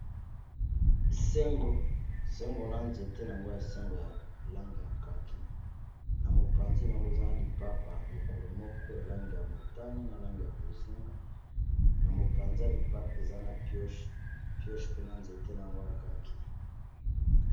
sengo na nzete na yango ya sengo ya lange ya kaki na mopanzi na yango ezana lipapa lokolo moko ya lange ya motani na lange ya bozinga na mopanzi lipapa eza na pioche pena nzete na yango ya kaki